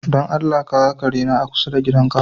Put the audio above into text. Don Allah ka ga kare na a kusa da gidanka?